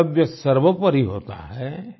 कर्तव्य सर्वोपरि होता है